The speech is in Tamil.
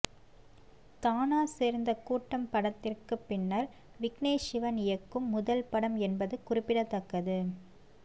தானா சேர்ந்த கூட்டம் படத்திற்கு பின்னர் விக்னேஷ் சிவன் இயக்கும் முதல் படம் என்பது குறிப்பிடத்தக்கது